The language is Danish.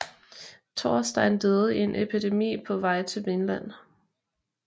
Thorstein døde i en epidemi på vej til Vinland